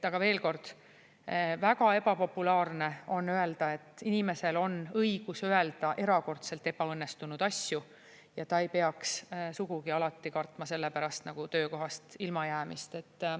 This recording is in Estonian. Aga veel kord, väga ebapopulaarne on öelda, et inimesel on õigus öelda erakordselt ebaõnnestunud asju ja ta ei peaks sugugi alati kartma selle pärast nagu töökohast ilmajäämist.